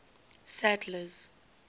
sadler's